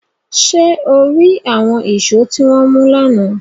Ṣe o ri awọn eso ti wọn mu lana?